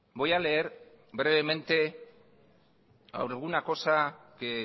voy a leer brevemente alguna cosa que